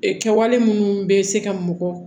Ee kɛwale minnu bɛ se ka mɔgɔ